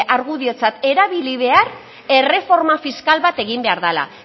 argudiotzat erabili behar erreforma fiskal bat egin behar dela